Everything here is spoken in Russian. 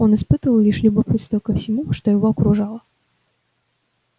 он испытывал лишь любопытство ко всему что его окружало